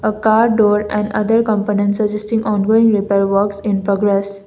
a car door and other components assisting ongoing repair works in progress.